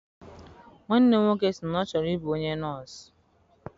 Nwanne m nwoke si na ọ chọrọ I bụ onye nọsụ.